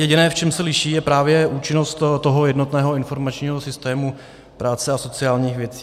Jediné, v čem se liší, je právě účinnost toho jednotného informačního systému práce a sociálních věcí.